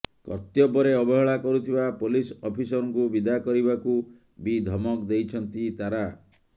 କର୍ତ୍ତବ୍ୟରେ ଅବହେଳା କରୁଥିବା ପୋଲିସ ଅଫିସରଙ୍କୁ ବିଦା କରିବାକୁ ବି ଧମକ୍ ଦେଇଛନ୍ତି ତାରା